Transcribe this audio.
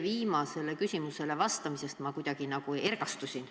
Viimasele küsimusele vastamisest ma kuidagi nagu ergastusin.